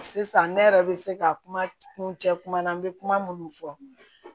Sisan ne yɛrɛ bɛ se ka kuma kun cɛ kuma na n bɛ kuma minnu fɔ